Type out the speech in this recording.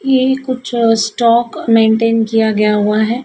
यही कुछ stock maintain किया गया हुआ है।